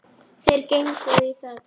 Þeir gengu í þögn.